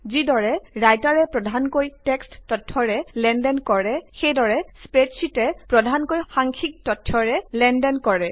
যিদৰে লিখকে প্ৰধানকৈ টেক্সট তথ্যৰে লেনদেন কৰে সেইদৰেই স্প্ৰেডশ্বিটে প্ৰধানকৈ সাংখ্যিক তথ্যৰে লেনদেন কৰে